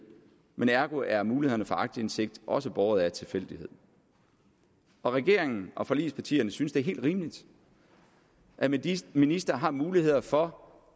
men ergo er mulighederne for aktindsigt også båret af tilfældighed og regeringen og forligspartierne synes det er helt rimeligt at de ministre har muligheder for